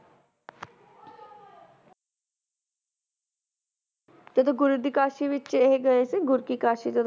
ਜਦੋਂ ਗੁਰੂ ਦੀ ਕਾਸ਼ੀ ਵਿਚ ਇਹ ਗਏ ਸੀ ਗੁਰ ਕੀ ਕਾਸ਼ੀ ਜਦੋਂ